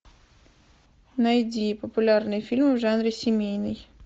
найди популярные фильмы в жанре семейный